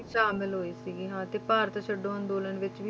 ਸ਼ਾਮਿਲ ਹੋਈ ਸੀਗੀ ਹਾਂ ਤੇ ਭਾਰਤ ਛੱਡੋ ਅੰਦੋਲਨ ਵਿੱਚ ਵੀ,